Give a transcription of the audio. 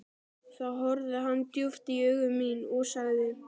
Þá horfði hann djúpt í augu mín og sagði